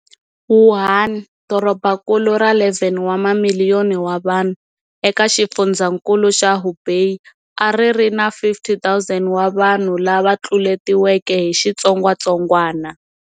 Wuhan, dorobankulu ra 11 wa mamiliyoni wa vanhu eka xifundzankulu xa Hubei, a ri ri na 50 000 wa vanhu lava tluletiweke hi xitsongwatsongwana.